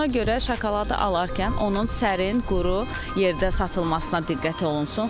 Ona görə şokoladı alarkən onun sərin, quru yerdə satılmasına diqqət olunsun.